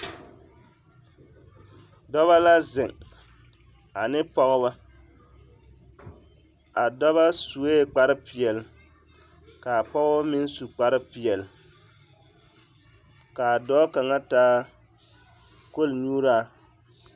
Dɔbɔ la zeŋ ane pɔgebɔ, a dɔbɔ sue kpare peɛle k'a pɔgebɔ meŋ su kpare peɛle k'a dɔɔ kaŋa taa kol-nyuuraa